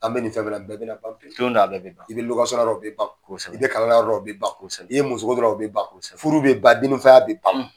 An bɛ nin fɛn bi a bɛɛ bɛna ban don dƆ la nin bɛƐ i bɛ bɛ i bɛ kalan na yɔrɔ dƆ la o bɛ ban i ye musoko dɔ o bi ban furu bɛ ban dennifaya bɛ ban